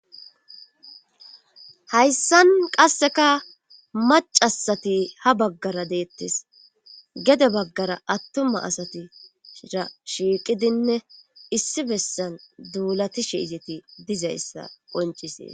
hayssan qasseka macasati ha baggara deettes gede baggara attuma asatira shiiqidinne issi bessan duulati shiizeti dizayssa qoncisee